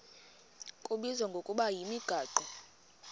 kubizwa ngokuba yimigaqo